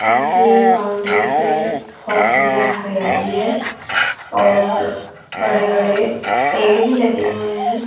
इनकी बाउंड्री पे बहोत सुंदर हरियाली है और बड़े-बड़े पेड़ भी लगे हुए हैं।